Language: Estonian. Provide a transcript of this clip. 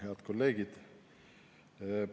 Head kolleegid!